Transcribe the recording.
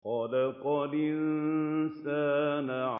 خَلَقَ الْإِنسَانَ